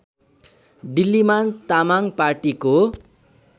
डिल्लीमान तामाङ पार्टीको